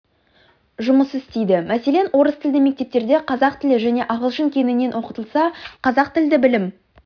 жұмыс істейді мәселен орыс тілді мектептерде қазақ тілі және ағылшын кеңінен оқытылса қазақ тілді білім